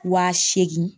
Wa seegin